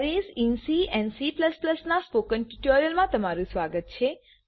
C and Cમા અરે પરનાં સ્પોકન ટ્યુટોરીયલમાં સ્વાગત છે